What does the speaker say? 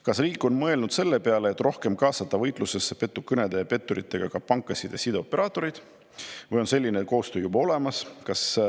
Kas riik on mõelnud selle peale, et rohkem kaasata võitlusesse petukõnede ja petturitega pankasid ja sideoperaatoreid, või on selline koostöö juba olemas?